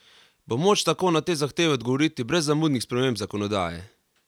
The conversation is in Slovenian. Bo moč tako na te zahteve odgovoriti brez zamudnih sprememb zakonodaje?